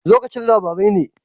Lokacin labarai ne?